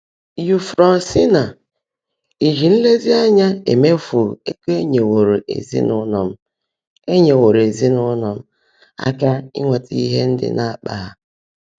Éufrosiná: “Íjí nlezíanyá éméefú égo ényéwóró ézinụlọ m ényéwóró ézinụlọ m áká ínwétá íhe ndị ná-ákpá há”